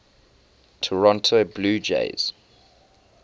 toronto blue jays